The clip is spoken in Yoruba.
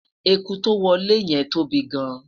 ẹkú to wolè yen tóbi gaan